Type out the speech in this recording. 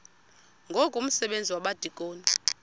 ngoku umsebenzi wabadikoni